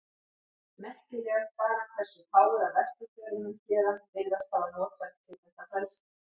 Merkilegast bara hversu fáir af vesturförunum héðan virðast hafa notfært sér þetta frelsi.